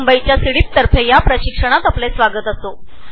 मुंबईच्या वतीने या प्रशिक्षणात मी आपलं स्वागत करते